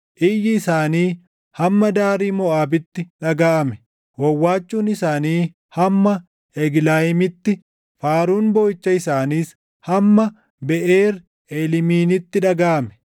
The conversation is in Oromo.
Iyyi isaanii hamma daarii Moʼaabitti dhagaʼame; wawwaachuun isaanii hamma Eglayiimitti faaruun booʼicha isaaniis hamma Beʼeer Eeliimiinitti dhagaʼame.